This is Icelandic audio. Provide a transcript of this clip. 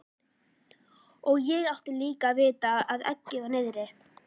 Og ég átti líka að vita að eggið var niðri.